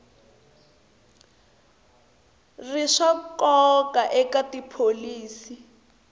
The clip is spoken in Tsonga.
ri swa nkoka eka tipholisi